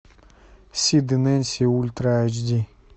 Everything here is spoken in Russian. сид и нэнси ультра айч ди